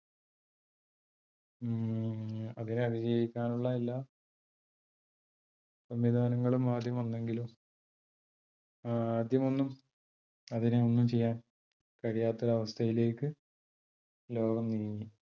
അതിനെ അതിജീവിക്കാൻ ഉള്ള എല്ലാ സംവിധാനങ്ങളും ആദ്യം വന്നെങ്കിലും ആദ്യം ഒന്നും അതിനെ ഒന്നും ചെയ്യാൻ കഴിയാത്ത ഒരു അവസ്ഥയിലേക്ക് ലോകം നീങ്ങി.